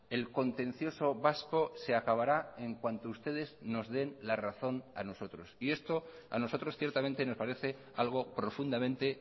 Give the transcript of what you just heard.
el contencioso vasco se acabará en cuanto ustedes nos den la razón a nosotros y esto a nosotros ciertamente nos parece algo profundamente